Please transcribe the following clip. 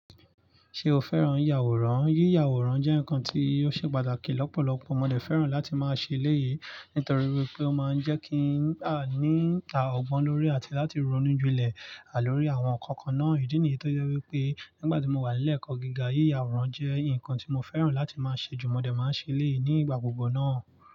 Ṣé o fẹ́ràn yìyàwòrán? Yíyàwòrán jẹ́ nǹkan tí ó ṣe pàtàkì lọ́pọ̀lọpọ̀. Mo lè fẹ́ràn láti máa ṣe eléyìí nítorí wípé ó máa ń jẹ́ kí a ní ọgbọ́n lórí àti láti ronú ju lẹ̀ à lórí àwọn ǹkan kan náà. Ídí nìyí tó jẹ́ wípé nígbà tí mo wà ní ilé ẹ̀kọ́ gíga, yíyàwòrán jẹ́ ǹkan tí mo fẹ́ràn láti máa ṣe jù. Mo lè máa ṣe eléyìí nígbà gbogbo náà.